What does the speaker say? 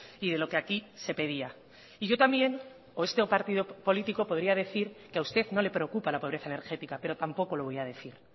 y de lo que aquí se pedía y yo también o este partido político podría decir que a usted no le preocupa la pobreza energética pero tampoco lo voy a decir